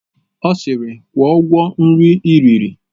Ọ sịịrị, kwụọ ụgwọ nri i riri!